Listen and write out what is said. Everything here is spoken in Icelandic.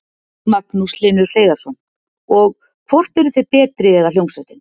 Magnús Hlynur Hreiðarsson: Og, hvort eruð þið betri eða hljómsveitin?